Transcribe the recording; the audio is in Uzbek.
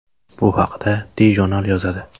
Bu haqda TJournal yozadi.